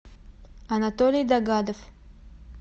анатолий догадов